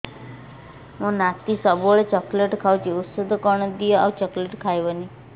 ମୋ ନାତି ସବୁବେଳେ ଚକଲେଟ ଖାଉଛି ଔଷଧ କଣ ଦିଅ ଆଉ ଚକଲେଟ ଖାଇବନି